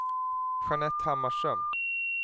Jeanette Hammarström